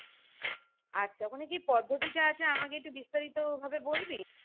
আচ্ছা ওখানে কি পদ্ধতিটা আছে আমাকে কে একটু বিস্তারিত ভাবে বলবি